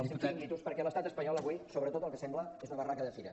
els seus xiringuitos perquè l’estat espanyol avui sobretot el que sembla és una barraca de fira